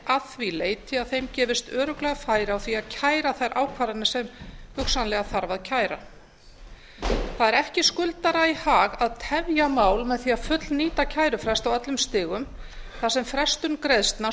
að því leyti að þeim gefist örugglega færi á því að kæra þær ákvarðanir sem hugsanlega þarf að kæra það er ekki skuldara í hag að tefja mál með því að fullnýta kærufrest á öllum stigum þar sem frestun greiðslna